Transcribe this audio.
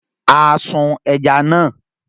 A sun ẹja náà.